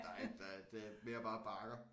Der er ikke der er det er mere bare bakker